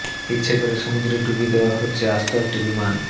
ইচ্ছে করে সমুদ্রে ডুবিয়ে দেওয়া হচ্ছে আস্ত একটি বিমান